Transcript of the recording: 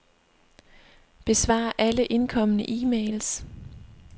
Besvar alle indkomne e-mails.